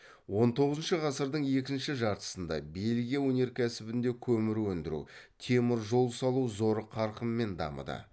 он тоғызыншы ғасырдың екінші жартысында бельгия өнеркәсібінде көмір өндіру темір жол салу зор қарқынмен дамыды